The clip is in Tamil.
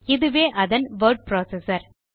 இதுவே அதன் வோர்ட் புரோசெசர்